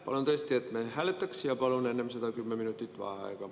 Palun tõesti, et me hääletaksime ja palun enne seda 10 minutit vaheaega.